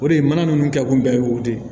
O de ye mana nunnu kɛ kun bɛɛ ye o de ye